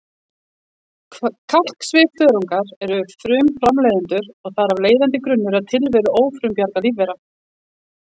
Kalksvifþörungar eru frumframleiðendur og þar af leiðandi grunnur að tilveru ófrumbjarga lífvera.